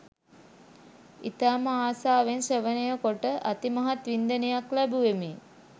ඉතාම ආසාවෙන් ශ්‍රවණය කොට අතිමහත් වින්දනයක් ලැබූවෙමි